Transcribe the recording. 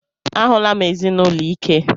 A hụla m ezinụlọ ike.